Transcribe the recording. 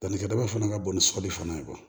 Dannikɛ daba fana ka bon ni sɔli fana ye